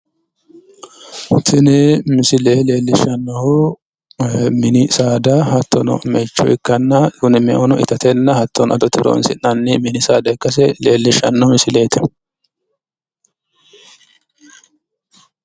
Tini misile leellishshannohu mini saada hattono meicho ikkanna meuno itate hattono adote horoonsi'nanni mini saadaa ikkase leellishshanno misileeti.